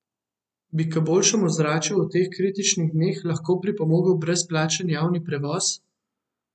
Bi k boljšemu ozračju v teh kritičnih dneh lahko pripomogel brezplačen javni prevoz?